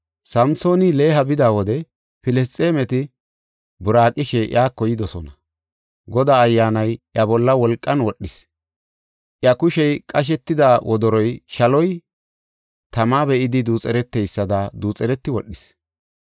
Samsooni Leha bida wode Filisxeemeti buraaqishe iyako yidosona. Godaa Ayyaanay iya bolla wolqan wodhis. Iya kushey qashetida wodoroy shaloy tama be7idi duuxereteysada duuxereti wodhis.